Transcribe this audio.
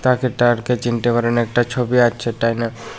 আর কে চিনতে পারেন একটা ছবি আছে ডাইনে।